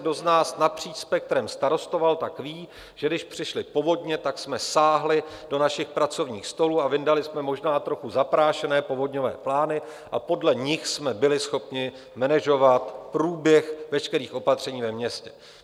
Kdo z nás napříč spektrem starostoval, tak ví, že když přišly povodně, tak jsme sáhli do našich pracovních stolů a vyndali jsme možná trochu zaprášené povodňové plány a podle nich jsme byli schopni manažovat průběh veškerých opatření ve městě.